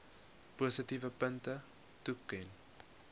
positiewe punte toeken